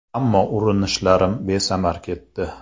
Ammo urunishlarim besamar ketdi.